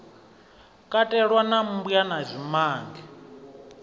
katelwa na mmbwa na zwimange